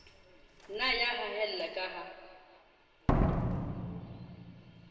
nna ya haella ka ha